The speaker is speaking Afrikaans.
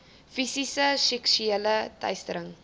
fisiese seksuele teistering